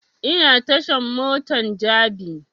Ina tashan motan jabi